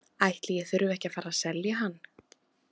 Ætli ég þurfi ekki að fara að selja hann.